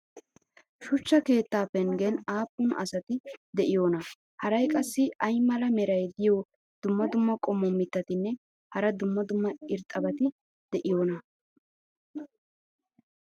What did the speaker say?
shuchcha keettaa penggen aappun asati de'iyoonaa? haray qassi ay mala meray diyo dumma dumma qommo mitattinne hara dumma dumma irxxabati de'iyoonaa?